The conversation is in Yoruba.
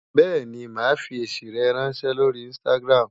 Bẹ́ẹ̀ni, màá fi èsì rẹ ráńṣẹ́ lórí Instagram.